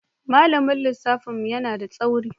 Malamin lissafin mu yana da tsauri.